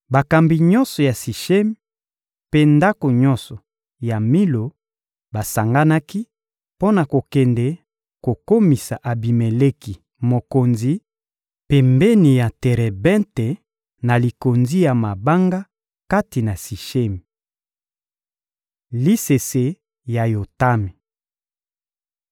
Bakambi nyonso ya Sishemi mpe ndako nyonso ya Milo basanganaki mpo na kokende kokomisa Abimeleki mokonzi, pembeni ya terebente, na likonzi ya mabanga kati na Sishemi. Lisese ya Yotami